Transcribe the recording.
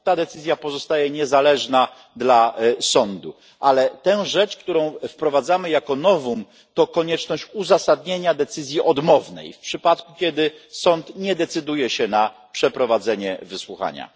Ta decyzja pozostaje niezależna dla sądu, ale tę rzecz, którą wprowadzamy jako novum, to konieczność uzasadnienia decyzji odmownej w przypadku, kiedy sąd nie decyduje się na przeprowadzenie wysłuchania.